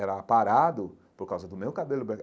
Era parado por causa do meu cabelo branco.